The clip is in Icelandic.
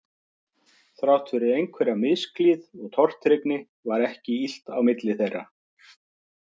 Þrátt fyrir einhverja misklíð og tortryggni var ekki illt á milli þeirra